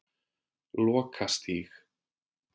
Lokastíg